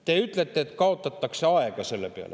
Te ütlete, et sellega kaotatakse aega.